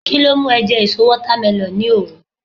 kilo mu e je èso watermelon ni oru